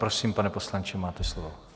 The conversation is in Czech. Prosím, pane poslanče, máte slovo.